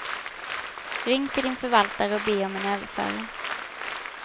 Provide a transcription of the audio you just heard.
Ring till din förvaltare och be om en överföring.